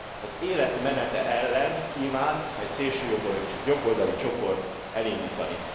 az Élet menete ellen kívánt egy szélsőjobboldali csoport elindítani.